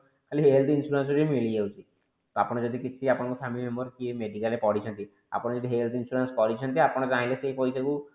ଖାଲି health insurance ହିଁ ମିଳି ଯାଉଛି ତ ଆପଣ ଯଦି କିଛି ଆପଣ ଙ୍କ family member medical ରେ ପଡିଛନ୍ତି ଆପଣ ଯଦି health insurance କରିଛନ୍ତି ଆପଣ ଚାହିଁଲେ ସେଇ ପଇସା କୁ